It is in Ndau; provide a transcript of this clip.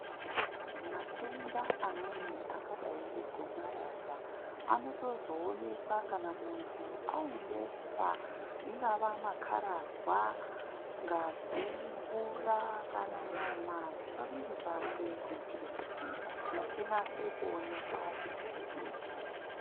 Matenda amweni akadai ngegomarara anotozoonekwa kana muntu aendesa ingava makararwa, ngazi, mvura kana nyama dzepamwiri pake kuitire kuti chinase kuoneka chirwere ichi.